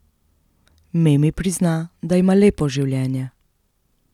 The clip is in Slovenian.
Memi prizna, da ima lepo življenje.